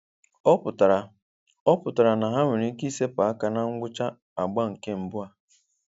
Ọ pụtara Ọ pụtara na ha nwere ike ịsepụ aka na ngwụcha agba nke mbụ a.